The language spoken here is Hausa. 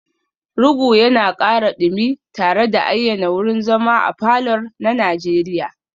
Rugu yana ƙara dumi tare da ayyana wurin zama a falor na Najeriya